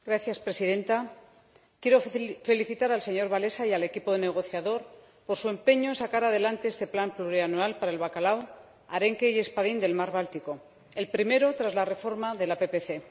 Señora Presidenta, quiero felicitar al señor Wałęsa y al equipo negociador por su empeño en sacar adelante este plan plurianual para el bacalao, arenque y espadín del mar Báltico, el primero tras la reforma de la PPC.